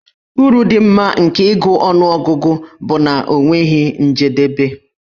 Uru dị mma nke ịgụ ọnụọgụgụ bụ na ọ nweghị njedebe.